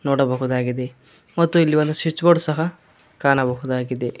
ನೋಡಬಹುದಾಗಿದೆ ಮತ್ತು ಇಲ್ಲಿ ಒಂದು ಸ್ವಿಚ್ ಬೋರ್ಡ್ ಸಹ ಕಾಣಬಹುದಾಗಿದೆ.